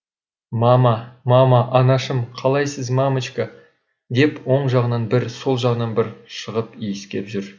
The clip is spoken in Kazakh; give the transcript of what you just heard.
мама мама анашым қалайсыз мамочка деп оң жағынан бір сол жағынан бір шығып иіскеп жүр